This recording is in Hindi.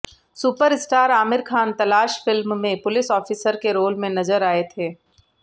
सुपरस्टार आमिर खान तलाश फिल्म में पुलिस ऑफिसर के रोल में नजर आए थे